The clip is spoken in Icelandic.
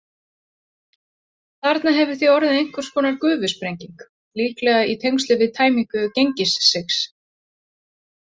Þarna hefur því orðið einhvers konar gufusprenging, líklega í tengslum við tæmingu Gengissigs.